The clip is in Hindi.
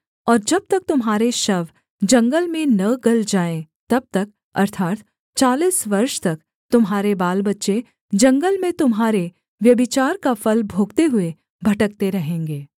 और जब तक तुम्हारे शव जंगल में न गल जाएँ तब तक अर्थात् चालीस वर्ष तक तुम्हारे बालबच्चे जंगल में तुम्हारे व्यभिचार का फल भोगते हुए भटकते रहेंगे